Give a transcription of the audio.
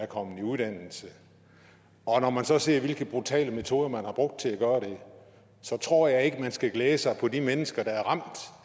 kommet i uddannelse og når man så ser hvilke brutale metoder man har brugt til at gøre det så tror jeg ikke man skal glæde sig på de mennesker der er ramt